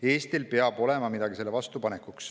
Eestil peab olema midagi, mida sellele vastu panna.